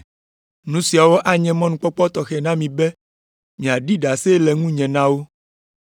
Nu siawo anye mɔnukpɔkpɔ tɔxɛ na mi be miaɖi ɖase le ŋunye na wo.